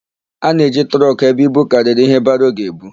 A na-eji trọkụ ebu ibu karịrị íhé baro ga-ebu.